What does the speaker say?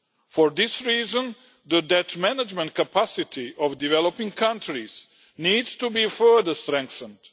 For this reason, the debt management capacity of developing countries needs to be further strengthened.